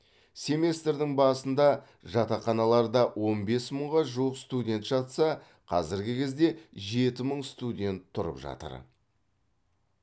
семестрдің басында жатақханаларда он бес мыңға жуық студент жатса қазіргі кезде жеті мың студент тұрып жатыр